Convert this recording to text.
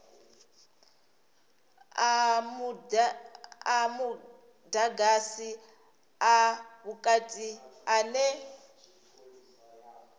a mudagasi a vhukati ane